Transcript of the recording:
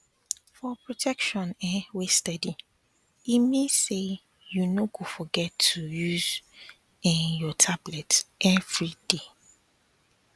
for protection um wey steady e mean say you no go forget to use um your tablet everyday